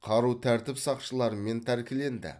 қару тәртіп сақшыларымен тәркіленді